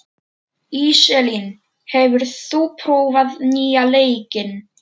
Íselín, hefur þú prófað nýja leikinn?